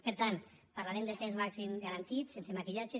per tant parlarem de temps màxim garantit sense maquillatge